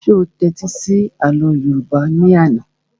Ṣé o tẹ́tí sí àlọ́ yóòbá ní àná?